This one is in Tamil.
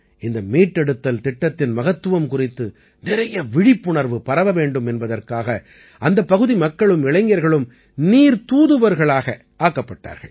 இந்த மீட்டெடுத்தல் திட்டத்தின் மகத்துவம் குறித்து நிறைய விழிப்புணர்வு பரவ வேண்டும் என்பதற்காக அந்தப் பகுதி மக்களும் இளைஞர்களும் நீர்த் தூதுவர்களாக ஆக்கப்பட்டார்கள்